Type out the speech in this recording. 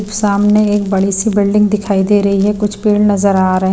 सामने एक बड़ी सी बिल्डिंग दिखाई दे रही है कुछ पेड़ नजर आ रहे--